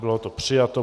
Bylo to přijato.